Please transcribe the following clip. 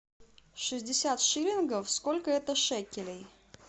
шестьдесят шиллингов сколько это шекелей